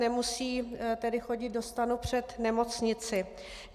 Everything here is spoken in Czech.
Nemusí tedy chodit do stanu před nemocnici.